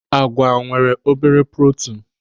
Àgwà nwere obere protinu.